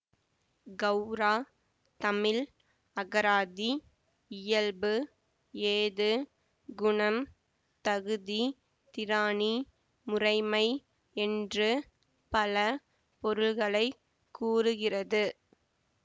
கௌரா தமிழ் அகராதி இயல்பு ஏது குணம் தகுதி திராணி முறைமை என்று பல பொருள்களை கூறுகிறது